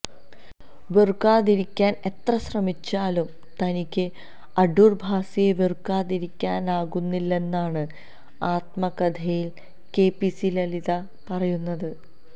വെറുക്കാതിരിക്കാൻ എത്ര ശ്രമിച്ചാലും തനിക്ക് അടൂർ ഭാസിയെ വെറുക്കാതിരിക്കാനാകുന്നില്ലെന്നാണ് ആത്മകഥയിൽ കെപിഎസി ലളിത പറയുന്നത്